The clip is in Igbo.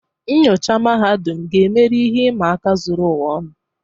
Nnyocha mahadum, ga-emeri ihe ịma aka zuru ụwa ọnụ.